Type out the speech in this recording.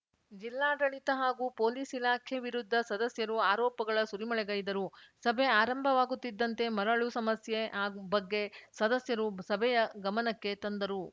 ಜಿಲ್ಲಾಡಳಿತ ಹಾಗೂ ಪೊಲೀಸ್‌ ಇಲಾಖೆ ವಿರುದ್ಧ ಸದಸ್ಯರು ಆರೋಪಗಳ ಸುರಿಮಳೆಗೈದರು ಸಭೆ ಆರಂಭವಾಗುತ್ತಿದ್ದಂತೆ ಮರಳು ಸಮಸ್ಯೆ ಆಗು ಬಗ್ಗೆ ಸದಸ್ಯರು ಸಭೆಯ ಗಮನಕ್ಕೆ ತಂದರು